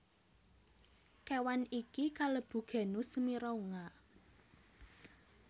Kéwan iki kalebu genus Mirounga